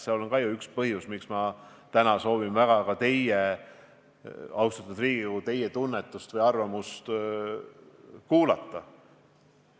See on ka üks põhjusi, miks ma täna soovin väga teie arvamust, austatud Riigikogu, kuulata.